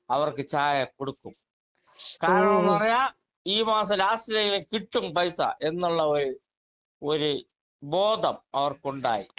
speaker 2 അവർക്ക് ചായ കൊടുക്കും കാരണം ന്ന് പറഞ്ഞാൽ ഈ മാസം ലാസ്റ്റില് കിട്ടും പൈസ എന്നുള്ള ഒരു ഒരു ബോധം അവർക്കുണ്ടായി